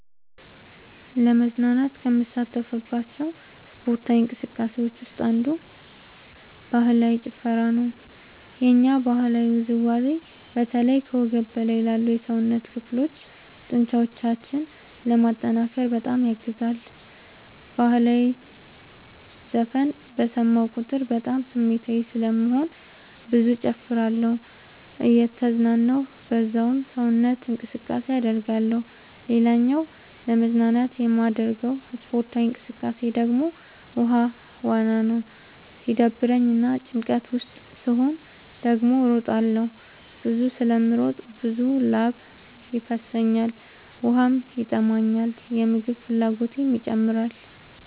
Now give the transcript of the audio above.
ለመዝናናት ከምሳተፍባቸው ስፓርታዊ እንቅስቃሴዎች ውስጥ አንዱ ባህላዊ ጭፈራ ነው። የኛ ባህላዊ ውዝዋዜ በተለይ ከወገብ በላይ ላሉ የሰውነት ክፍሎ ጡንቻዎችን ለማጠንከር በጣም ያግዛል። በህላዊ ዘፈን በሰማሁ ቁጥር በጣም ስሜታዊ ስለምሆን ብዙ እጨፍራለሁ እየተዝናናሁ በዛውም ሰውነት እንቅስቃሴ አደርጋለሁ። ሌላኛው ለመዝናናት የማደርገው ስፖርታዊ እንቅቃሴ ደግሞ ውሃ ዋና ነው። ሲደብረኝ እና ጭንቀት ውስጥ ስሆን ደግሞ እሮጣለሁ። ብዙ ስለምሮጥ ብዙ ላብ ይፈሰኛል ውሃም ይጠማኛል የምግብ ፍላጎቴም ይጨምራል።